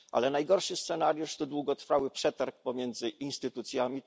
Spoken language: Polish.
Jednak najgorszy scenariusz to długotrwały przetarg pomiędzy instytucjami.